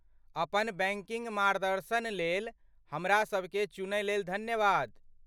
अपन बैंकिंग मार्गदर्शन लेल हमरा सभकेँ चुनयलेल धन्यवाद।